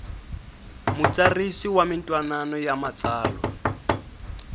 mutsarisi wa mintwanano ya matsalwa